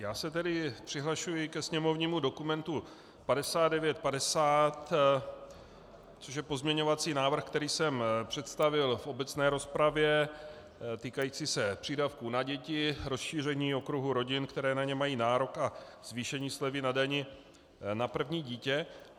Já se tedy přihlašuji ke sněmovnímu dokumentu 5950, což je pozměňovací návrh, který jsem představil v obecné rozpravě, týkající se přídavků na děti, rozšíření okruhu rodin, které na ně mají nárok, a zvýšení slevy na dani na první dítě.